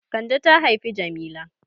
Kande ta haifi Jamila.